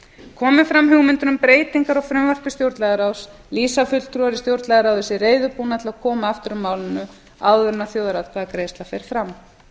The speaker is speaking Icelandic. komi fram hugmyndir um breytingar á frumvarpi stjórnlagaráðs lýsa fulltrúar í stjórnlagaráði sig reiðubúna til að koma aftur að málinu áður en þjóðaratkvæðagreiðsla fer fram